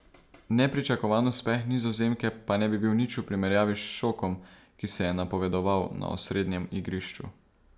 Nepričakovan uspeh Nizozemke pa ne bi bil nič v primerjavi s šokom, ki se je napovedoval na osrednjem igrišču.